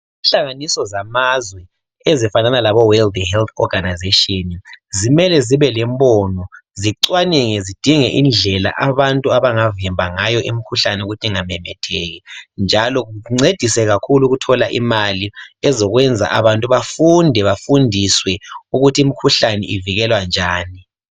Inhlanganiso zamazwe ezifanana labo world health organisation zimele zibe lembono zifanele zidinge indlela abantu abangavimba ngayo imikhuhlane ukuthi ingamemetheki njalo kuncediswe kakhulu ukuthola imali ezokwenza abantu bafunde bafundiswe ukuthi imikhuhlane ivikelwa njani.